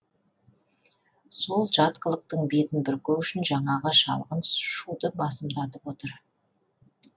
сол жат қылықтың бетін бүркеу үшін жаңағы жалған шуды басымдатып отыр